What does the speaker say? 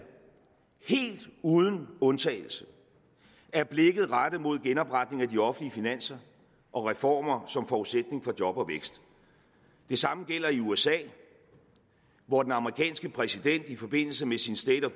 helt uden undtagelse er blikket rettet mod genopretning af de offentlige finanser og reformer som forudsætning for job og vækst det samme gælder i usa hvor den amerikanske præsident i forbindelse med sin state